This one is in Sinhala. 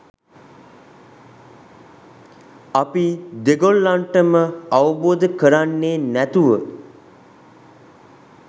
අපි දෙගොල්ලන්ටම අවබෝධ කරන්නේ නැතුව